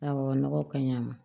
Awɔ nɔgɔ ka ɲi a ma